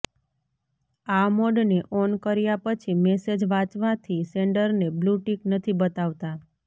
આ મોડને ઑન કર્યા પછી મેસેજ વાંચવાથી સેન્ડરને બ્લૂ ટિક નથી બતાવતા